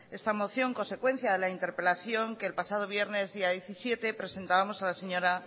esta moción consecuencia de la interpelación que el pasado viernes día diecisiete presentábamos a la señora